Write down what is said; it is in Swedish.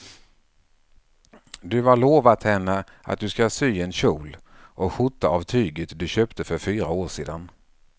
Du har lovat henne att du ska sy en kjol och skjorta av tyget du köpte för fyra år sedan.